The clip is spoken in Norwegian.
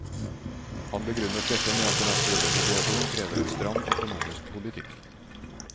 Han begrunnet dette med at den aktuelle situasjon krever en stram økonomisk politikk.